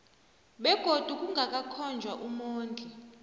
begodu kungakakhonjwa umondli